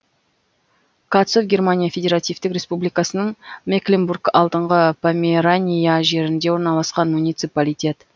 катцов германия федеративтік республикасының мекленбург алдыңғы померания жерінде орналасқан муниципалитет